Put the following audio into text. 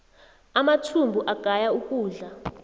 amathumbu agaya ukudla